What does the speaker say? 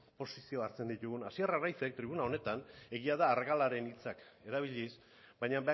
posizio hartzen ditugun hasier arraizek tribuna honetan egia da argalaren hitzak erabiliz baina